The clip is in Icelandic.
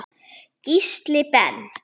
Gísli Ben.